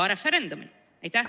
Ka referendumil!